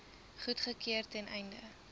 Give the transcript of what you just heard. goedgekeur ten einde